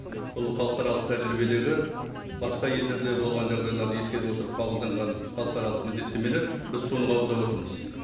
бұл халықаралық тәжірибедегі басқа елдерде болған жағдайларды ескере отырып қабылданған халықаралық міндеттемелер біз соны қабылдап отырмыз